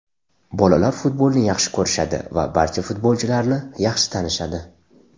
Bolalar futbolni yaxshi ko‘rishadi va barcha futbolchilarni yaxshi tanishadi.